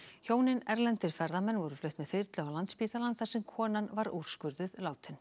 hjónin erlendir ferðamenn voru flutt með þyrlu á Landspítalann þar sem konan var úrskurðuð látin